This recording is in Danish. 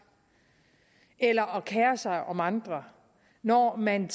eller at kere sig om andre når man